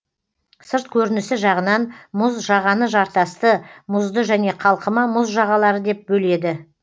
сырт көрінісі жағынан мұз жағаны жартасты мұзды және қалқыма мұз жағалары деп бөледі